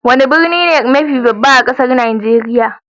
Wani birni ne mafi babba a kasan Nijeriya?